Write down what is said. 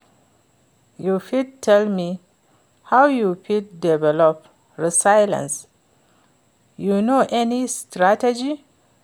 you fit tell me how you fit develop resilience, you know any strategy?